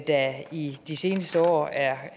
der i de seneste år er